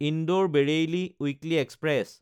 Indore Bareilly weekly express